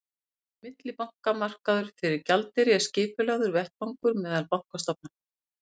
millibankamarkaður fyrir gjaldeyri er skipulagður vettvangur meðal bankastofnana